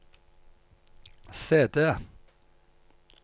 CD